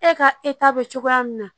E ka e ta bɛ cogoya min na